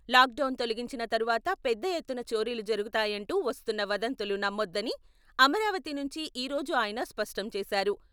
Lock down తొలగించిన తరువాత పెద్ద ఎత్తున చోరీలు జరుగుతాయంటూ వస్తున్న వదంతులు నమ్మొద్దని అమరావతి నుంచి ఈ రోజు ఆయన స్పష్టం చేశారు.